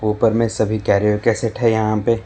उपर में सभी कैरियर के सेट है यहां पे।